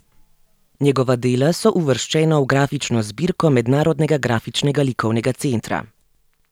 Njegova dela so uvrščena v grafično zbirko Mednarodnega grafičnega likovnega centra.